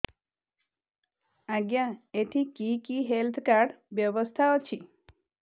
ଆଜ୍ଞା ଏଠି କି କି ହେଲ୍ଥ କାର୍ଡ ବ୍ୟବସ୍ଥା ଅଛି